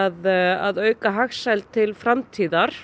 að auka hagsæld til framtíðar